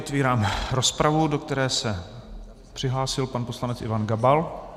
Otevírám rozpravu, do které se přihlásil pan poslanec Ivan Gabal.